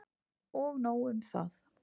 Og nóg um það!